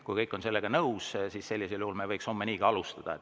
Kui kõik on sellega nõus, siis sellisel juhul me võiks homme nii alustada.